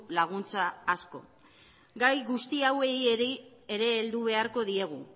diru laguntza gai guzti hauei ere heldu beharko diegu